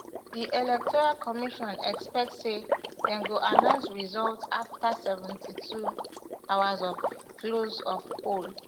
di electoral commission expect say dem go announce results afta seventy-two hours of close of poll